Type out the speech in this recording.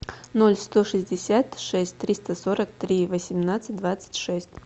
ноль сто шестьдесят шесть триста сорок три восемнадцать двадцать шесть